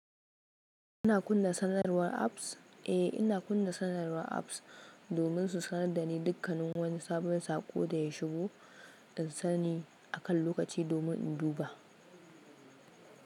Ana kunna sanarwar apps? Eh, ina kunna sanarwar apps domin su sanar da ni dukkanin wani sabon saƙo da ya shigo. In sani akan lokaci domin in duba.